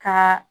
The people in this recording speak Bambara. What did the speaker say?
Ka